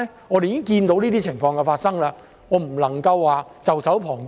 我們已經看到這些情況發生，絕不能袖手旁觀。